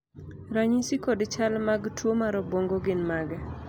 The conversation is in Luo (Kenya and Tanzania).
ranyisi kod chal mag tuo mar obuongo gin mage?